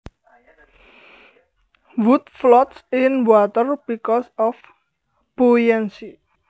Wood floats in water because of buoyancy